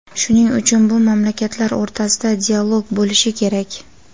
shuning uchun bu mamlakatlar o‘rtasida dialog bo‘lishi kerak.